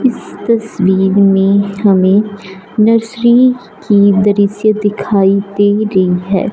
इस तस्वीर में हमें नर्सरी की दृश्य दिखाई दे रही है।